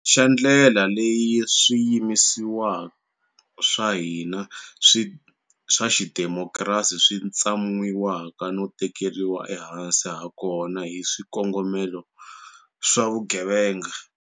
Xa ndlela leyi swiyimisiwa swa hina swa xidemokirasi swi tsan'wiwaka no tekeriwa ehansi hakona hi swikongomelo swa vugevenga.